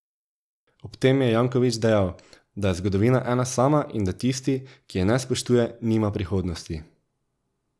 Ob tem je Janković dejal, da je zgodovina ena sama in da tisti, ki je ne spoštuje, nima prihodnosti.